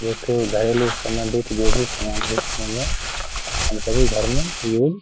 एक घायलों से संबंधित जो भी समान है --